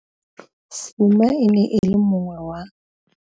Fuma e ne e le mongwe wa.